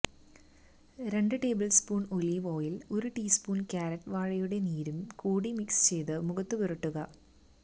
രണ്ട് tablespoon olive oil ഒരു teaspoon കറ്റാര് വാഴയുടെ നീരും കൂടി മിക്സ് ചെയ്ത് മുഖത്തു പുരട്ടുക